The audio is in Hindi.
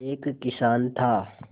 एक किसान था